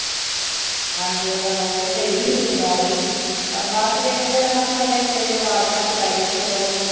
ਹਾਂਜੀ ਉਦਾ ਬਹੁਤ, ਸਹੀ ਸੀ ਉਹ ਵੀ ਪਰ ਬਾਦ ਚ ਦੇਖੋ ਜਦੋਂ ਤੁਹਾਨੂੰ ਪਤਾ ਇੱਕ ਵਾਰੀ ਵਿਗਾੜ ਘਰ ਚ ਪੈਜੇ ਤੇ ਫਿਰ ਓਹ